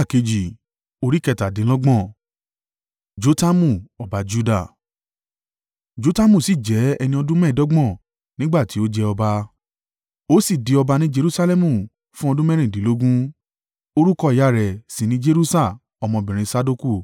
Jotamu sì jẹ́ ẹni ọdún mẹ́ẹ̀ẹ́dọ́gbọ̀n nígbà tí ó jẹ ọba, ó sì di ọba ní Jerusalẹmu fún ọdún mẹ́rìndínlógún. Orúkọ ìyá rẹ̀ sì ni Jeruṣa ọmọbìnrin Sadoku.